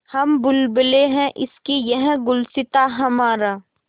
हम बुलबुलें हैं इसकी यह गुलसिताँ हमारा